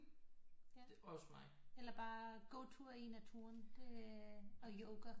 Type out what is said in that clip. Ja eller bare gå tur i naturen det og yoga